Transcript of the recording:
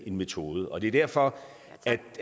en metode og det er derfor